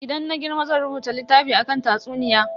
Idan na girma zan rubuta littafi akan tatsuniya.